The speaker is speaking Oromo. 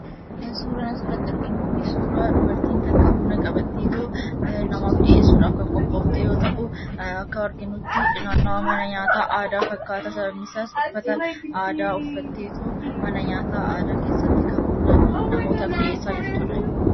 Suuraan asirratti arginu suuraa dubartiin tokko buna qabatteetoo namaaf dhiyeessuudhaaf kan qophoofte yoo ta’u, akka arginutti naannawaa mana nyaataa aadaa fakkaata. Sababni isaas uffata aadaa uffatteetu mana nyaata aadaa keessatti namootaaf kan buna dhiyeessaa jirtudha.